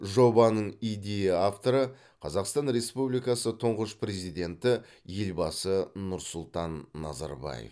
жобаның идея авторы қазақстан республикасы тұңғыш президенті елбасы нұрсұлтан назарбаев